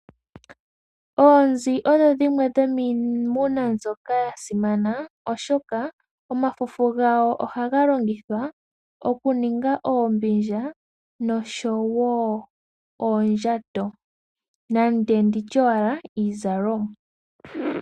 Oonzi odho dhimwe dhomiimuna mbyoka ya simana. Oshoka omafufu gawo ohaga longithwa okuninga oombindja osho wo oondjato nenge ndi tye iizalomwa.